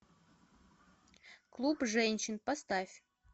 клуб женщин поставь